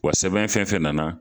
Wa sɛbɛn fɛn fɛn nana